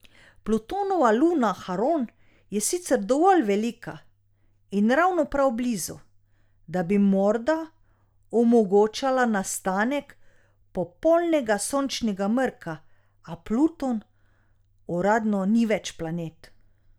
Plutonova luna Haron je sicer dovolj velika in ravno prav blizu, da bi morda omogočala nastanek popolnega sončnega mrka, a Pluton uradno ni več planet.